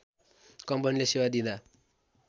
कम्पनीले सेवा दिँदा